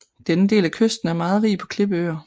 Denne del af kysten er meget rig på klippeøer